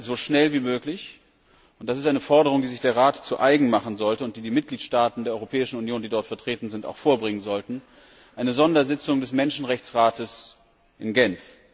Wir wollen so schnell wie möglich und das ist eine Forderung, die sich der Rat zu eigen machen sollte und die die Mitgliedstaaten der Europäischen Union, die dort vertreten sind, auch vorbringen sollten eine Sondersitzung des Menschenrechtsrates in Genf.